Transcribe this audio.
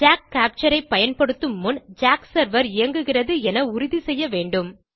jack captureஐ செயல்படுத்தும் முன் ஜாக் செர்வர் இயங்குகிறதா என உறுதி செய்ய வேண்டும்